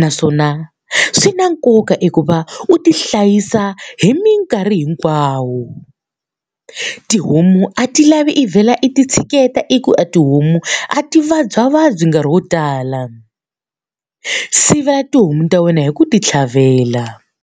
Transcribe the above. naswona swi na nkoka eku va u ti hlayisa hi minkarhi hinkwayo. Tihomu a ti lavi i vhela i ti tshineta i ku a tihomu a ti vabyavabyi nkarhi wo tala. Sivela tihomu ta wena hi ku ti tlhavela.